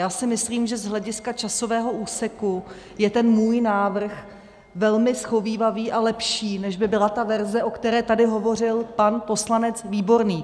Já si myslím, že z hlediska časového úseku je ten můj návrh velmi shovívavý a lepší, než by byla ta verze, o které tady hovořil pan poslanec Výborný.